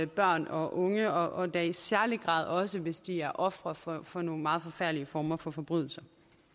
børn og unge og da i særlig grad også hvis de er ofre for for nogle meget forfærdelige former for forbrydelser